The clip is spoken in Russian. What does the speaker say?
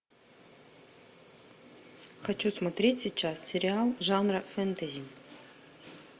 хочу смотреть сейчас сериал жанра фэнтези